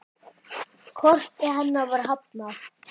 Korti hennar var hafnað.